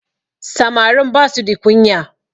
Samarin ba su the kunya